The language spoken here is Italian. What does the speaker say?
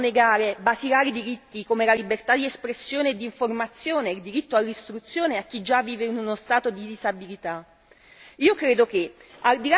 Io mi chiedo ma come si possono negare diritti basilari come la libertà di espressione e di informazione ed il diritto all'istruzione a chi già vive uno stato di disabilità?